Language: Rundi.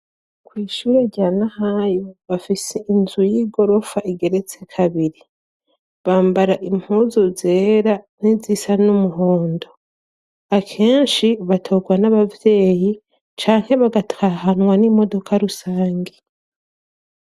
Kw'ishure rya Nahayo bafise inzu y'igorofa igeretse kabiri, bambara impuzu zera n'izisa n'umuhondo ,akenshi batogwa n'abavyeyi canke bagatahanwa n'imodoka rusange.